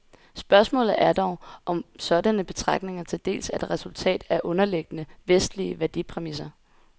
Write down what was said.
Spørgsmålet er dog, om sådanne betragtninger til dels er et resultat af underliggende, vestlige værdipræmisser.